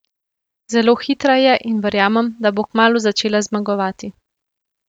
Zelo hitra je in verjamem, da bo kmalu začela zmagovati.